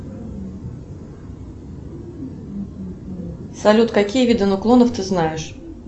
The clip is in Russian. салют какие виды нуклонов ты знаешь